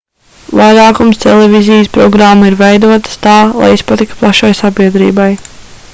vairākums televīzijas programmu ir veidotas tā lai izpatiktu plašai sabiedrībai